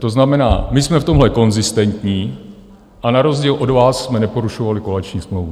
To znamená, my jsme v tomhle konzistentní a na rozdíl od vás jsme neporušovali koaliční smlouvu.